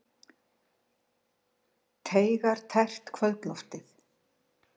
Teygar tært kvöldloftið.